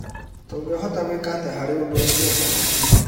Tũngĩhota gwĩka atĩa harĩ ũndũ ũcio?